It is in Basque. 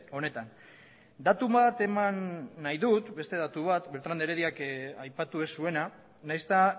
honetan datu bat eman nahi dut beste datu bat beltrán de herediak aipatu ez zuena nahiz eta